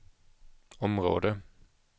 område